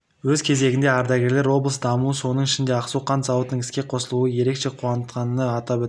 өз кезегінде ардагерлер облыс дамуы соның ішінде ақсу қант зауытының іске қосылуы ерекше қуантқанына атап өтті